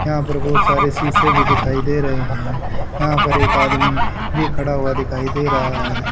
यहां पर बहुत सारे शीशे भी दिखाई दे रहे हैं यहां पर एक आदमी भी खड़ा हुआ दिखाई दे रहा है।